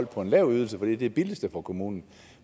på en lav ydelse fordi det billigste for kommunen